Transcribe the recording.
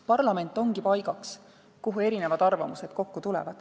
Parlament ongi paik, kuhu tulevad kokku erinevad arvamused.